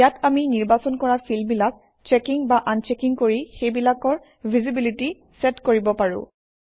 ইয়াত আমি নিৰ্বাচন কৰা ফিল্ডবিলাক চেকিং বা আনচেকিং কৰি সেইবিলাকৰ ভিজিবিলিটি চেট কৰিব পাৰোঁ